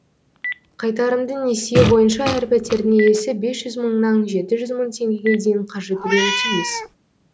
қайтарымды несие бойынша әр пәтердің иесі бес жүз мыңнан жеті жүз мың теңгеге дейін қаржы төлеуі тиіс